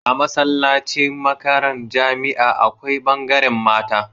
A masallacin makaran jamia akwai bangaran mata